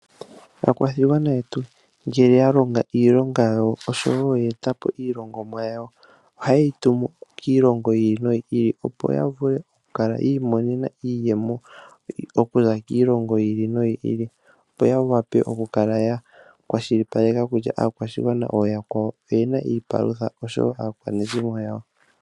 Aakwashigwana yetu shampa ya longo iilonga yawo nenge ya etapo iilongomwa yawo, oha yeyi tumu kiilongo yiili no yiili, opo ya vule oku kala yiimonena iiyemo okuza kiilongo yiili no yiili, opo ya kale ya kwashilipaleka kutya ooyakwawo oyena iipalutha osho wo aakwanezimo yawo.